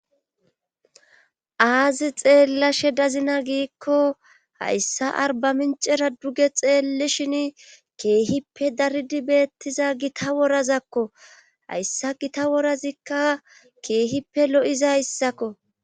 Aazi xeellashe dazina giikko hayssa arba mincera duge xeelli shin keehippe daridi beettiza gita worazakko hayssa gita worazikka keehippe lo'iza hyssakko